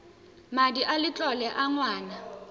madi a letlole a ngwana